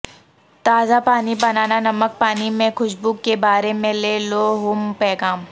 تازہ پانی بنانا نمک پانی میں خوشبو کے بارے میں لے لو ہوم پیغام